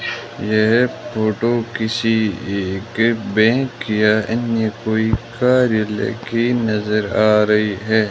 यह फोटो किसी एक बैंक या अन्य कोई कार्यालय की नजर आ रही है।